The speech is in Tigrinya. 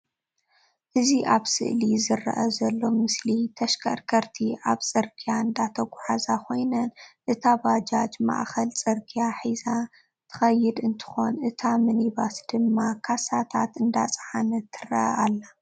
እዚ አብ ስእሊ ዝረአ ዘሎ ምስሊ ተሽከርከርቲ ኣብ ፅርግያ እንዳተጓዕዛ ኮይነን አታ ባጃጅ መኣኸል ፅርግያ ሒዛ ትኸይድ እንትኾን እታ ምኒባስ ድማ ካሳታት እንዳፃዓነት ትረአ ኣላ።